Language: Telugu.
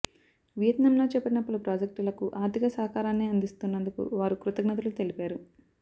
వియత్నాంలో చేపట్టిన పలు ప్రాజెక్టులకు ఆర్థిక సహకారాన్ని అందిస్తున్నందుకు వారు కృతజ్ఞతలు తెలిపారు